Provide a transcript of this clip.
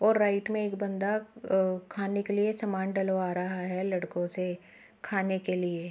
और राइट में एक बंदा अ खाने के लिए एक सामान डलवा रहा है लड़को से खाने के लिए।